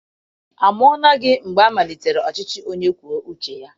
Amụọla gị mgbe amalitere ọchịchị onye kwue uche ya?